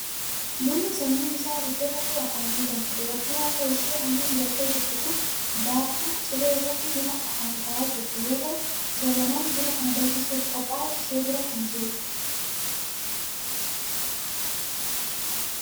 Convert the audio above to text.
Bunni sanyiin isaa abidda irratti akaa'amee danfa. Dubartiin harka ishii halluu dibattee jirtu kun baattuu cilee irratti buna kan akaa'aa jirtu yoo ta'u, jabanaan buna kana danfisuuf qophaa'e ishee bira kan jirudha.